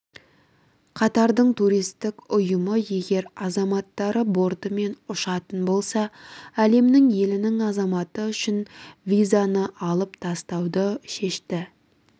катардың туристік ұйымы егер азаматтары бортымен ұшатын болса әлемнің елінің азаматы үшін визаны алып тастауды шешті